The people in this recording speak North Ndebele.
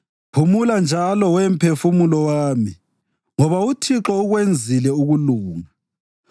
Phumula njalo, we mphefumulo wami, ngoba uThixo ukwenzile ukulunga.